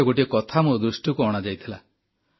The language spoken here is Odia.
ଥରେ ଗୋଟିଏ କଥା ମୋ ଦୃଷ୍ଟିକୁ ଅଣାଯାଇଥିଲା